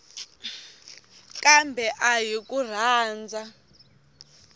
kambe a hi ku rhandza